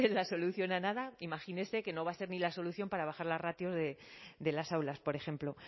la solución a nada imagínese que no va a ser ni la solución para bajar las ratios de las aulas por ejemplo